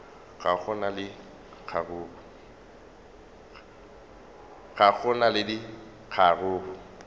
ga go na le kgaruru